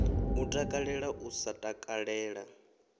u takalela u sa takalela